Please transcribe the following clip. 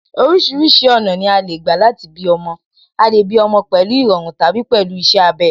Orísìírísìí ọ̀nà ni a lè gbà láti bí ọmọ, a lè bí ọmọ pẹ̀lú ìrọ̀run tàbí pẹ̀lú iṣẹ́ abẹ